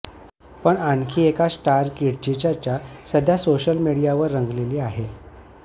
पण आणखी एका स्टार किडची चर्चा सध्या सोशल मीडियावर रंगलेली आहे